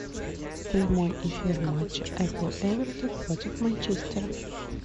прямой эфир матча апл эвертон против манчестера